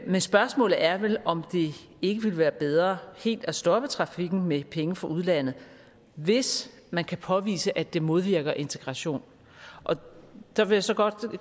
men spørgsmålet er vel om det ikke ville være bedre helt at stoppe trafikken med penge fra udlandet hvis man kan påvise at det modvirker integration og der vil jeg så godt